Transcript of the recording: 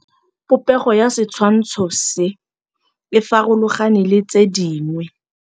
Popêgo ya setshwantshô se, e farologane le tse dingwe.